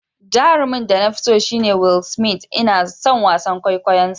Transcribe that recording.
Jarumin da na fi so shine Will Smith, Ina son wasan kwaikwayonsa.